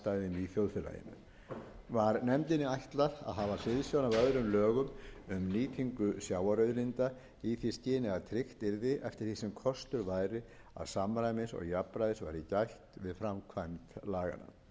í þjóðfélaginu var nefndinni ætlað að hafa hliðsjón af öðrum lögum um nýtingu sjávarauðlinda í því skyni að tryggt yrði eftir því sem kostur væri að samræmis og jafnræðis væri gætt við framkvæmd laganna